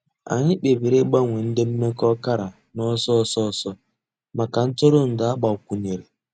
Ànyị̀ kpèbìrì ị̀gbanwe ńdí m̀mekọ̀ ọ̀kàrà n'ọ̀sọ̀ òsọ̀ òsọ̀ mǎká ntụrụ̀ndụ̀ àgbàkwùnyèrè.